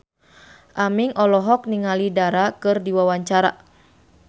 Aming olohok ningali Dara keur diwawancara